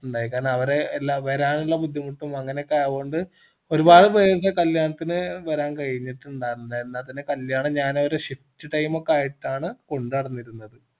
ഇണ്ടായി കാരണം അവര് എല്ലാ വരാനുള്ള ബുദ്ധിമുട്ടും അങ്ങനെ ഒക്കെ ആയോണ്ട് ഒരുപാട് പേര് കല്യാണത്തിന് വരാൻ കയിഞ്ഞിട്ടിണ്ടാർന്നില്ല എന്നാ പിന്ന കല്യാണം ഞാൻ ഒരു shift time ഒക്കെ ആയിട്ടാണ് കൊണ്ട് നടന്നിരുന്നത്